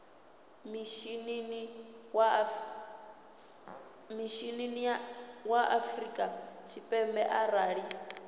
mishinini wa afrika tshipembe arali